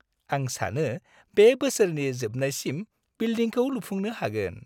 आं सानो बे बोसोरनि जोबनायसिम बिल्दिंखौ लुफुंनो हागोन।